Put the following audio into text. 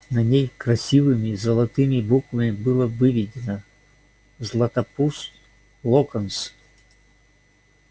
на ней красивыми золотыми буквами было выведено златопуст локонс